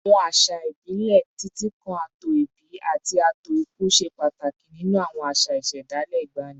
Àwọn àṣà ìbílẹ̀, títí kan ààtò ìbí àti ààtò ikú, ṣe pàtàkì nínú àwọn àṣà ìṣẹ̀dálẹ̀ ìgbàanì